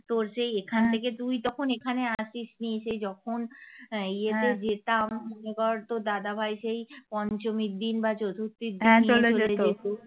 তোর সেই এখান থেকে তুই তখন এখানে আসিস নি সেই যখন আহ ইয়েতে যেতাম মনে কর তোর দাদাভাই সেই পঞ্চমীর দিন বা চতুর্থীর দিন যেত